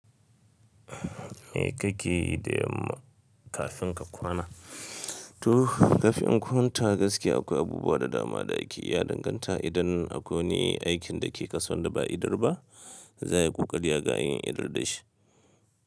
Me kake yi da yamma kafin ka kwana? To, kafin in kwanta gaskiya akwai abubuwa da dama da ake yi ya danganta idan akwai aikin da ke kasuwa da ba a idar ba, za a yi ƙoƙari ga yin idar da shi.